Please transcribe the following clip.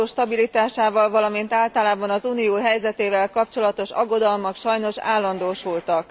Az euró stabilitásával, valamint általában az Unió helyzetével kapcsolatos aggodalmak sajnos állandósultak.